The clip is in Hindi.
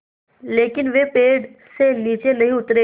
लेकिन वे पेड़ से नीचे नहीं उतरे